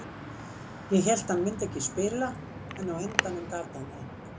Ég hélt að hann myndi ekki spila en á endanum gat hann það.